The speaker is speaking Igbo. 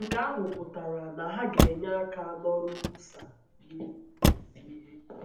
Nke ahụ pụtara na ha ga - enye aka n’ọrụ nkwusa na izi ihe.